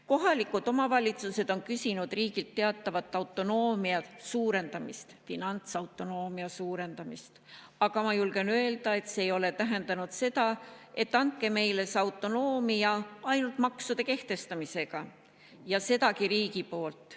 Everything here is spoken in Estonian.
Kohalikud omavalitsused on küsinud riigilt teatavat autonoomia suurendamist, finantsautonoomia suurendamist, aga ma julgen öelda, et see ei ole tähendanud seda, et andke meile see autonoomia ainult maksude kehtestamisega, ja sedagi riigi poolt.